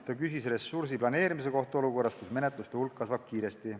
Ta küsis ressursi planeerimise kohta olukorras, kus menetluste hulk kasvab kiiresti.